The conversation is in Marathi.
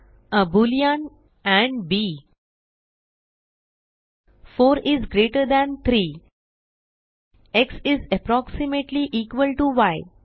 a boolean and b 4 is greater than 3 x is approximately equal to य